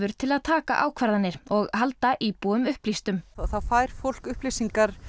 til að taka ákvarðanir og halda íbúum upplýstum þá fær fólk upplýsingar